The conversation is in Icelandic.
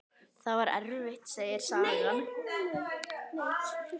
Það var erfitt, segir sagan.